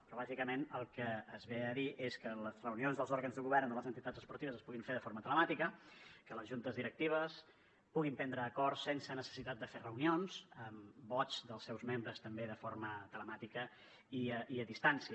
però bàsicament el que es ve a dir és que les reunions dels òrgans de govern de les entitats esportives es puguin fer de forma telemàtica que les juntes directives puguin prendre acords sense necessitat de fer reunions amb vots dels seus membres també de forma telemàtica i a distància